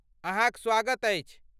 अहाँक स्वागत अछि!